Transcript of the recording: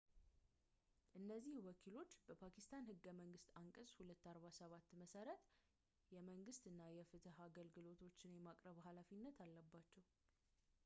እነዚህ ወኪሎች በፓኪስታን ህገ መንግስት አንቀጽ 247 መሠረት የመንግስት እና የፍትህ አገልግሎቶችን የማቅረብ ሃላፊነት አለባቸው